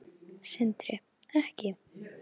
Sindri: Ekki?